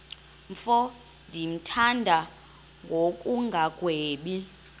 mfo ndimthanda ngokungagwebi